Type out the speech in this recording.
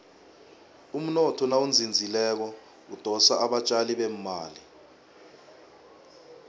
umnotho nawuzinzileko udosa abatjali bemali